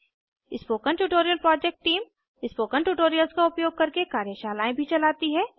spoken tutorial project team spoken tutorials का उपयोग करके कार्यशालाएँ भी चलाती है